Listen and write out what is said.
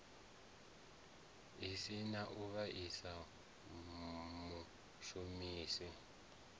si na u vhaisa mushumisi